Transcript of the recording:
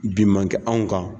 Bin man kɛ anw kan